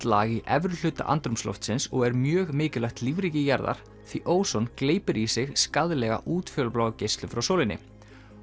lag í efri hluta andrúmsloftsins og er mjög mikilvægt lífríki jarðar því óson gleypir í sig skaðlega útfjólubláa geislun frá sólinni